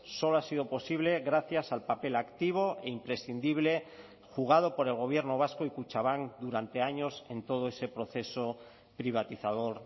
solo ha sido posible gracias al papel activo e imprescindible jugado por el gobierno vasco y kutxabank durante años en todo ese proceso privatizador